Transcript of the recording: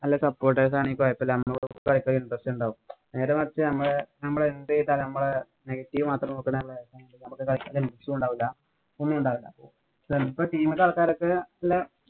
അല്ല supporter's ആണേ കൊഴപ്പമില്ല. നമ്മടെ കൂടെ കളിക്കാന്‍ interest ഒണ്ടാവും. നേരെമറിച്ച് നമ്മള് എന്തു ചെയ്താലും നമ്മളെ negative മാത്രം നോക്കണെ ആണേ നമ്മക്ക് കളിയ്ക്കാന്‍ ഉണ്ടാവുല. ഒന്നുംണ്ടാവൂല ചെലപ്പോ team ഇന്‍റെ ആള്‍ക്കാരൊക്കെ